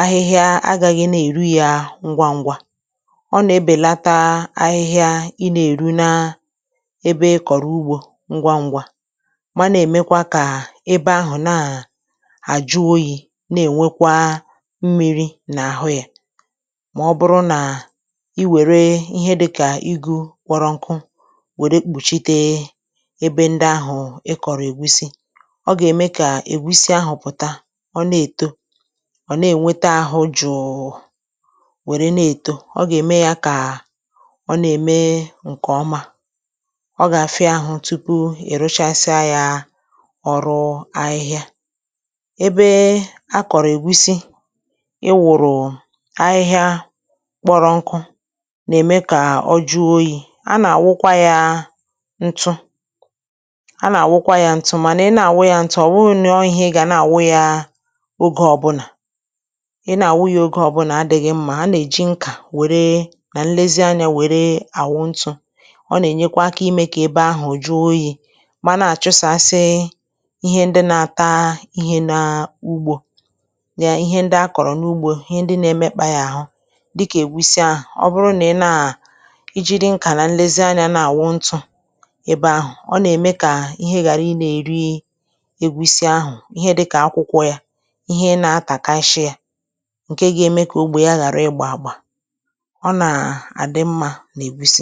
ahịhịa agāghị na-èru yā ngwaǹgwa ọ nà-ebèlata ahịhịa ị nā-èru na ebe ị kọ̀rọ̀ ugbō ngwāǹgwa ma na-èmekwa kà ebe ahụ̀ na àjụ oyī na-ènwekwa mmịrị̄ n’àhụ ya mà ọ bụrụ nà i wère ihe di kà igū kpọrọ nku wère kpùchite ebe ndị ahụ̀ ịkọ̀rọ̀ ègusi ọ gà-ème kà ègusi ahụ̀ pụ̀ta ọ na-èto ọ̀ na-ènweta àhụ juu wère na-èto ọ gà-ème ya kà ọ nà-ème ǹkè ọma ọ gà-àfịa àhụ tupu ị̀ rụchasịa ya ọrụ ahịhịa ebe a kọ̀rọ̀ ègusi ị wụ̀rụ̀ ahịhịa kpọrọ nku nà-ème kà o juo oyī a nà-àwụkwa ya ntu a nà-àwụkwa ya ntu mànà ị na-àwụ ya ntu ọ̀ bụrụ na ọ ihe ị gà na-àwụ ya ogē ọ̀ bunà ị na-àwụ ya oge ọ̀bụna adị̄ghị mma a nà-èji nkà wère nà nlezi anyā wère àwụ ntū ọ nà-ènyekwa aka imē kà ebe ahụ̀ juo oyī mana àchụsàsị ihe ndị na-àta ihe n’ugbō ya ihe ndị akọrọ n’ugbo ihe ndị na-emekpā ya àhụ dịkà ègusi ahụ̀ ọ bụrụ na ị na ijide nkà na nlezianyā na-àwụ ntū ebe ahụ̀ ọ nà-ème kà ihe ghàra ị na-èri ègusi ahụ̀ ihe dịkà akwịkwọ ya ihe ị nā-atàkashị yā ǹke ga-ene ka ogbè ya ghàrà ị gbà àgbà ọ nà-àdị mmā n’ègusi